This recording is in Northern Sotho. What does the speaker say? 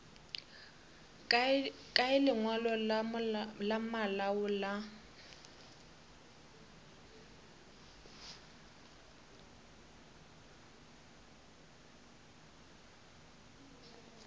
kae lengwalo la malao la